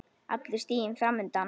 Allur stiginn fram undan.